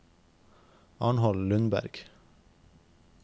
Arnold Lundberg